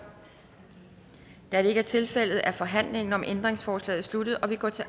da det ikke er tilfældet er forhandlingen om ændringsforslaget sluttet og vi går til